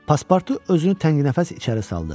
Paspartu özünü tənginəfəs içəri saldı.